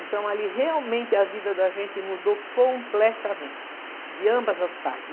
Então ali realmente a vida da gente mudou completamente, de ambas as partes.